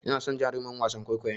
Ina son jarumin wasan kwaikwayon.